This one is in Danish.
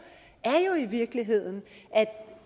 i virkeligheden at